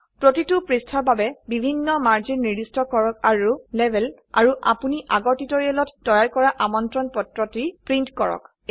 প্ৰতিটো পৃষ্ঠাৰ বাবে বিভিন্ন মাৰ্জিন নিৰ্দিষ্ট কৰক আৰু লেবেল আৰু আপোনি আগৰ টিউটোৰিয়েলত তৈয়াৰ কৰা আমন্ত্ৰণপত্ৰটি ছাপক